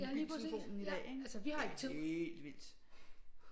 Ja lige præcis ja altså vi har tid